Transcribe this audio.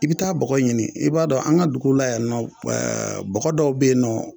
I bɛ taa bɔgɔ ɲini i b'a dɔn an ka dugu la yan nɔ bɔgɔ dɔw bɛ yen nɔ